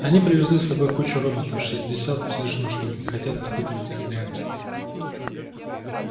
они привезли с собой кучу роботов шестьдесят с лишним штук и хотят испытывать их реакции